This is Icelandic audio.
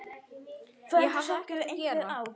Ég hafði ekkert að gera.